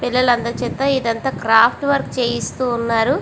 పిల్లలి అందరి చేత ఇక్కడ క్రాఫ్ట్ వర్క్ చేపిస్తునారు.